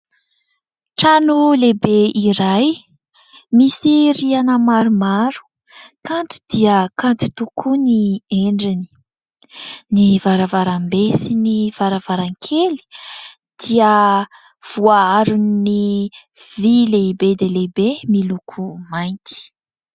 trano lehibe iray misy rihana maromaro, kanto dia kanto tokoa ny endriny ,ny varavaram-be sy ny varavaran-kely dia voaaron'ny vy lehibe dia lehibe miloko mainty